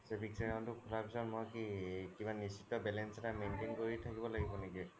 savings account তো খুলাৰ পিছ্ত মই কি কিবা নিস্শ্শত balance এটা maintain কৰি থকিব লগিব নেকি?